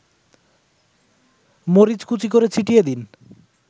মরিচকুচি করে ছিটিয়ে দিন